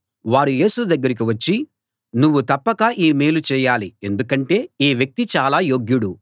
వారు యేసు దగ్గరికి వచ్చి నువ్వు తప్పక ఈ మేలు చేయాలి ఎందుకంటే ఈ వ్యక్తి చాలా యోగ్యుడు